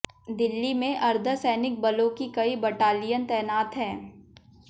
दिल्ली में अर्धसैनिक बलों की कई बटालियन तैनात हैं